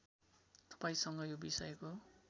तपाईँसँग यो विषयको